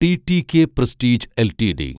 TTK prestige LTD